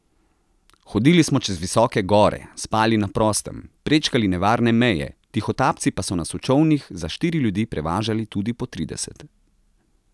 Hodili smo čez visoke gore, spali na prostem, prečkali nevarne meje, tihotapci pa so nas v čolnih za štiri ljudi prevažali tudi po trideset.